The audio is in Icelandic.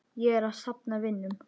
Ég er að safna vinum.